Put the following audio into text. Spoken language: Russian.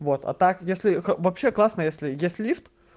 вот а так если вообще классно если если лифт